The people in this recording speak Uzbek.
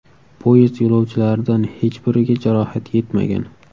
Poyezd yo‘lovchilaridan hech biriga jarohat yetmagan.